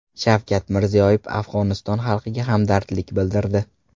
Shavkat Mirziyoyev Afg‘oniston xalqiga hamdardlik bildirdi.